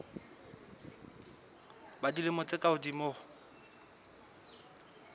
ba dilemo tse ka hodimo